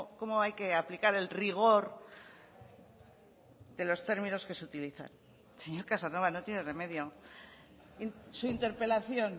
cómo hay que aplicar el rigor de los términos que se utilizan señor casanova no tiene remedio su interpelación